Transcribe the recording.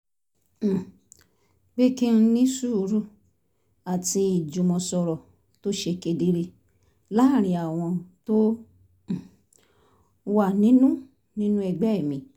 um pé kí n ní sùúrù àti ìjùmọ̀sọ̀rọ̀ tó ṣe kedere láàárín àwọn tó um wà nínú nínú ẹgbẹ́ mi